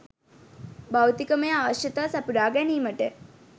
භෞතිකමය අවශ්‍යතා සපුරා ගැනීමට